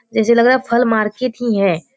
जैसा लग रहा है फल मार्केट ही है।